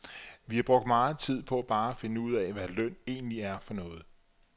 Vi har brugt meget tid på bare at finde ud af, hvad løn egentlig er for noget.